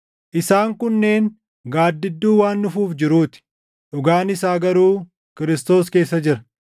Isaan kunneen gaaddidduu waan dhufuuf jiruu ti; dhugaan isaa garuu Kiristoos keessa jira.